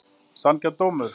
Sanngjarn dómur?